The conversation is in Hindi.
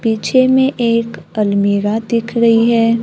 पीछे में एक अलमीरा दिख रही है।